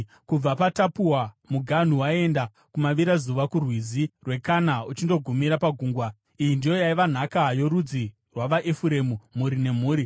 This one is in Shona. Kubva paTapuwa muganhu waienda kumavirazuva kuRwizi rweKana uchindogumira pagungwa. Iyi ndiyo yaiva nhaka yorudzi rwavaEfuremu mhuri nemhuri.